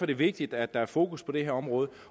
det vigtigt at der er fokus på det her område